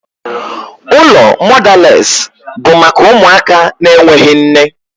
Ụlọ mọdales bụ maka ụmụaka na-enweghị nne.